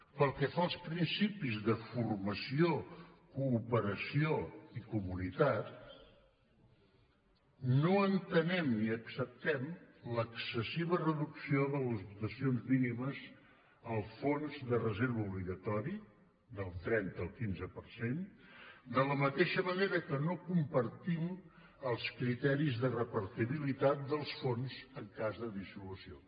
pel que fa als principis de formació cooperació i comunitat no entenem ni acceptem l’excessiva reducció de les dotacions mínimes al fons de reserva obligatori del trenta al quinze per cent de la mateixa manera que no compartim els criteris de repartibilitat dels fons en cas de dissolució